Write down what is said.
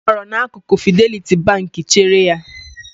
Ọ nọrọ n'akụkụ Fideliti Bank chere ya.